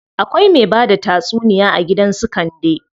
Akwai me bada tatsuniya a gidan su Kande.